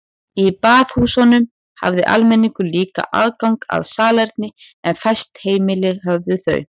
Í baðhúsunum hafði almenningur líka aðgang að salerni en fæst heimili höfðu þau.